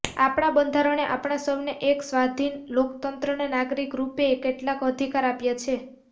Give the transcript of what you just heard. આપણા બંધારણે આપણા સૌને એક સ્વાધીન લોકતંત્રના નાગરિકના રૂપે કેટલાક અધિકાર આપ્યા છે